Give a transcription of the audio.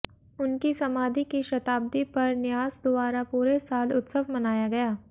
उनकी समाधि की शताब्दी पर न्यास द्वारा पूरे साल उत्सव मनाया गया